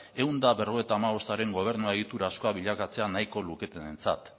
ehun eta berrogeita hamabostaren gobernu egiturazkoa bilakatzea nahiko luketenentzat